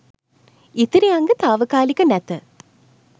ඉතිරි අංග තාවකාලික නැත